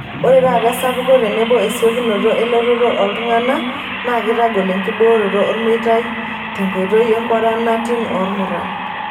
Ore taata esapuko tenebo esiokinoto elototo ooltungana naa keitagol enkibooroto olmeitai tenkoitoi e kwaranatin oomuruan.